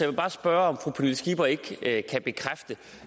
vil bare spørge om fru pernille skipper ikke kan bekræfte